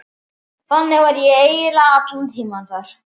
Þannig var ég eiginlega allan tímann þar.